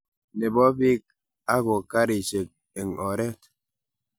nebo biik ago karishek eng oret